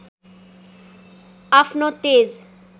अफ्नो तेज